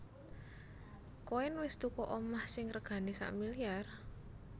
Koen wes tuku omah sing regane sakmiliar?